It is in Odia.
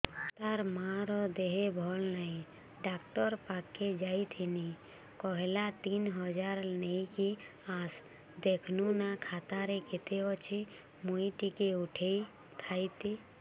ତାର ମାର ଦେହେ ଭଲ ନାଇଁ ଡାକ୍ତର ପଖକେ ଯାଈଥିନି କହିଲା ତିନ ହଜାର ନେଇକି ଆସ ଦେଖୁନ ନା ଖାତାରେ କେତେ ଅଛି ମୁଇଁ ଟିକେ ଉଠେଇ ଥାଇତି